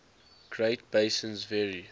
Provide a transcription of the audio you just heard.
great basins vary